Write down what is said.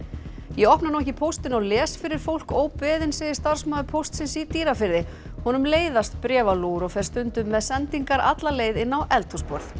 ég opna nú ekki póstinn og les fyrir fólk óbeðinn segir starfsmaður Póstsins í Dýrafirði honum leiðast bréfalúgur og fer stundum með sendingar alla leið inn á eldhúsborð